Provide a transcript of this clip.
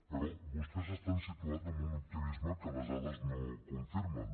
però vostès estan situats en un optimisme que les dades no confirmen